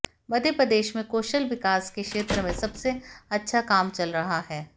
मध्यप्रदेश में कौशल विकास के क्षेत्र में सबसे अच्छा काम चल रहा है